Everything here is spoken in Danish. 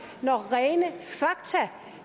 når rene fakta